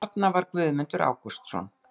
En þarna var Guðmundur Ágústsson!